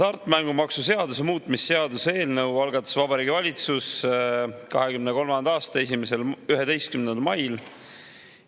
Hasartmängumaksu seaduse muutmise seaduse eelnõu algatas Vabariigi Valitsus 2023. aasta 11. mail.